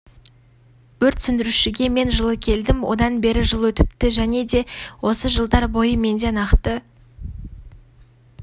өрт сөндірушіге мен жылы келдім одан бері жыл өтіпті және де осы жылдар бойы менде нақты